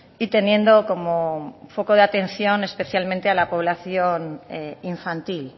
y teniendo como foco de atención especialmente a la población infantil